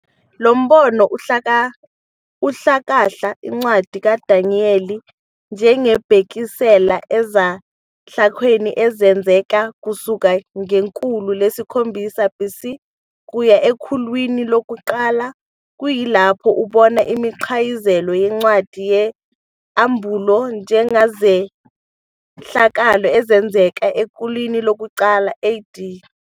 Lombono uhlakahla incwadi kaDaniyeli njengebhekisela ezehlakalweni ezafezeka kusuka ngekhulu lesikhombisa BC kuya ekhulwini lokuqala, kuyilapho ubona imiqayizelo yencwadi yesAmbulo njengezehlakalo ezenzeke ekhulwini lokuqala AD.